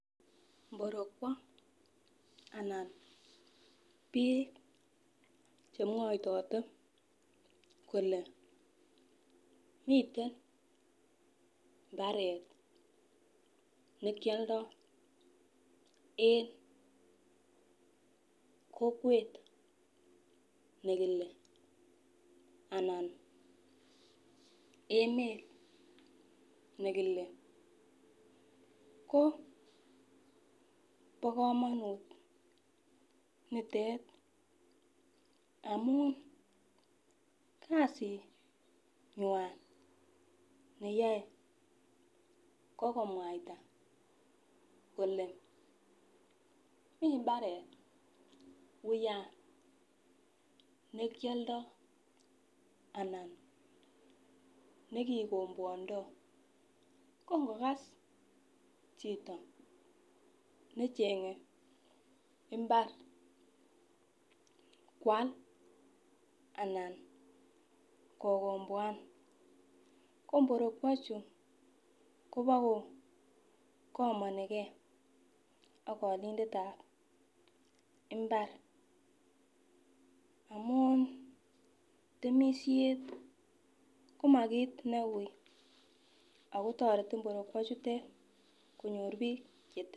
mborokwo anan biik chemwoitote kole miten mbaret nekioldo en kokwet nekile anan emet nekile ko bokomonut nitet amun kasinywan neyoe kokomwaita kole mi mbaret uyan nekioldo anan nekikombwondo kongokas chito nechenge mbar kwal anan kokombwan ko mborokwo chu kobokokomonikee ak olindetab mbar amun temishet komakit neui ako toreti mborokwo chutet konyor biik